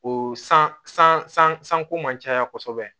O san sanko man caya kosɛbɛ